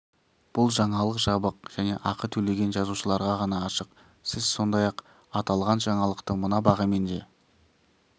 бұл жаңалық жабық және ақы төлеген жазылушыларға ғана ашық сіз сондай-ақ аталған жаңалықты мына бағамен де